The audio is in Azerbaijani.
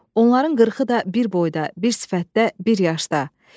Onların qırxı da bir boyda, bir sifətdə, bir yaşda.